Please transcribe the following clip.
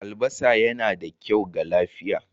Albasa yana da kyau ga lafiya.